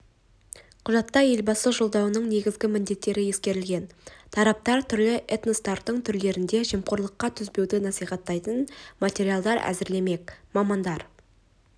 құжатта елбасы жолдауының негізгі міндеттері ескерілген тараптар түрлі этностардың тілдерінде жемқорлыққа төзбеуді насихаттайтын материалдар әзірлемек мамандар